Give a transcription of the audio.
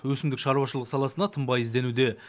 өсімдік шаруашылығы саласында тынбай ізденуде